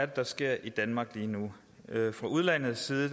der sker i danmark lige nu fra udlandets side